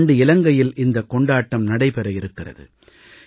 இந்த ஆண்டு இலங்கையில் இந்தக் கொண்டாட்டம் நடைபெற இருக்கிறது